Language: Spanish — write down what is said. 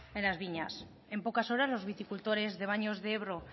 en las viñas en pocas horas los viticultores de baños de ebro